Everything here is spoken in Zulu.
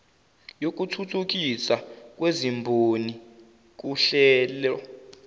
yokuthuthukiswa kwezimboni kuhlelo